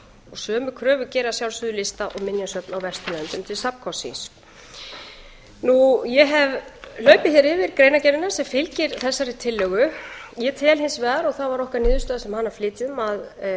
sömu kröfu gera að sjálfsögðu lista og minjasöfn á vesturlöndum til safnkosts síns ég hef hlaupið hér yfir greinargerðina sem fylgir þessari tillögu ég tel hins vegar og það var okkar niðurstaða sem hana flytjum að